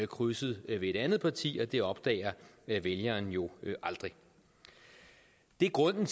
krydset ved et andet parti og det opdager vælgeren jo aldrig det er grunden